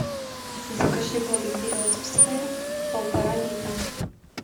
закажи воду березовская полтора литра